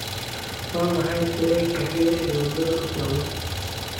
Waa maxay tareenka xiga ee waddada u socda?